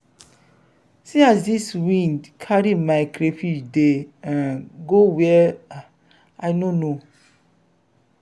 see as dis wind carry my crayfish dey um go where um i no know.